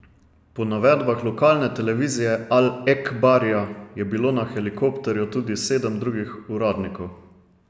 Po navedbah lokalne televizije Al Ekbarija je bilo na helikopterju tudi sedem drugih uradnikov.